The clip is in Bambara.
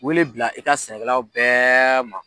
Wele bila i ka sɛnɛkɛlaw bɛɛ ma.